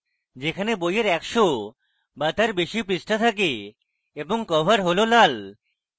যেখানে বইয়ের 100 বা তার বেশি পৃষ্ঠা থাকে এবং কভার has লাল